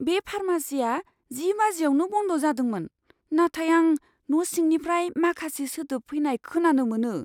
बे फार्मेसीआ जि बाजिआवनो बन्द जादोंमोन, नाथाय आं न' सिंनिफ्राय माखासे सोदोब फैनाय खोनानो मोनो।